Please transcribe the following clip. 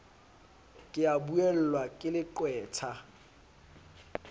ke a buellwa ke leqwetha